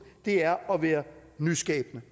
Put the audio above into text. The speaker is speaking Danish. det er at være nyskabende